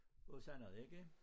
Og sådan noget ikke